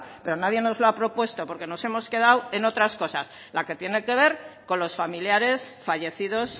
pero nadie nos lo ha propuesto porque nos hemos quedado en otras cosas la que tiene que ver con los familiares fallecidos